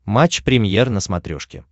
матч премьер на смотрешке